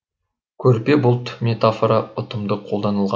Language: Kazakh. көрпе бұлт метафора ұтымды қолданылған